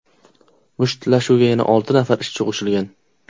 Mushtlashuvga yana olti nafar ishchi qo‘shilgan.